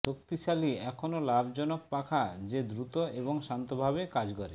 শক্তিশালী এখনো লাভজনক পাখা যে দ্রুত এবং শান্তভাবে কাজ করে